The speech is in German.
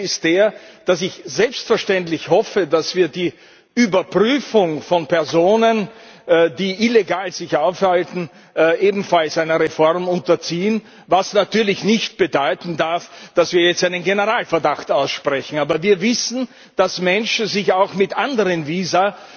Das eine ist der Aspekt, dass ich selbstverständlich hoffe, dass wir die Überprüfung von Personen, die sich illegal aufhalten, ebenfalls einer Reform unterziehen, was natürlich nicht bedeuten darf, dass wir jetzt einen Generalverdacht aussprechen. Aber wir wissen, dass Menschen sich auch mit anderen Visa